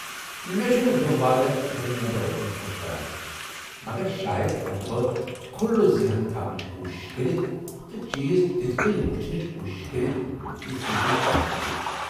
مےٚ چھنہٕ دۄہ وادن گھرٕ نٮ۪بر روزُن خۄش کران مگر شاید ہٮ۪کہٕ بہٕ کُھلہٕ ذہن تھونٕچ کوٗشِش کٔرِتھ تہٕ چیز تِتھہٕ كٕنۍ وُچھنٕچہِ كوٗشِش كرِتھ یتھہٕ كٕنۍ تُہۍ كران چھِو٘ ۔